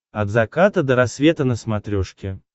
от заката до рассвета на смотрешке